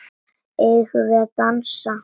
Eigum við að dansa?